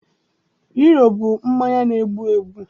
Hiro bụ mmanya na-egbu egbu